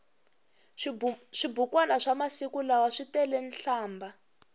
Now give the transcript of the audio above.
swibukwani swa masiku lawa switele nhlambha